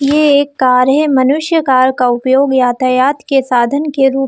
ये एक कार है मनुष्य कार का उपयोग यातायात के साधन के रूप--